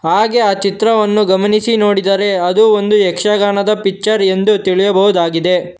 ಹಾಗೆ ಆ ಚಿತ್ರವನ್ನು ಗಮನಿಸಿ ನೋಡಿದರೆ ಅದು ಒಂದು ಯಕ್ಷಗಾನದ ಪಿಚ್ಚರ್ ಎಂದು ತಿಳಿಯಬಹುದಾಗಿದೆ.